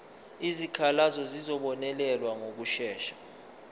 izikhalazo zizobonelelwa ngokushesha